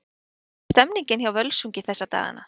Hvernig er stemningin hjá Völsungi þessa dagana?